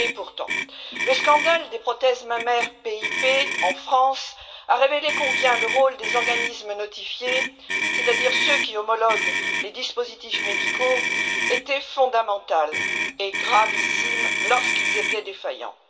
Et pourtant, le scandale des prothèses mammaires de l'entreprise PIP, en France, a révélé combien le rôle des organismes notifiés, c'est à dire ceux qui homologuent les dispositifs médicaux, est fondamental et gravissime lorsque ceux ci sont défaillants.